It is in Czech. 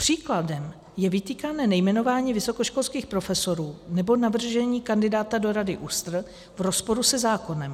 Příkladem je vytýkané nejmenování vysokoškolských profesorů nebo navržení kandidáta do Rady ÚSTR v rozporu se zákonem.